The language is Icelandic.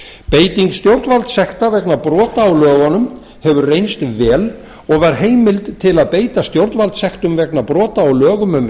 beiting stjórnvaldssekta vegna brota á lögunum hefur reynst vel og var heimild til að beita stjórnvaldssektum vegna brota á lögum um